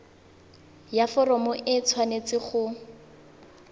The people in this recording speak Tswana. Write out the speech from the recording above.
ya foromo e tshwanetse go